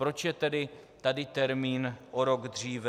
Proč je tedy tady termín o rok dříve?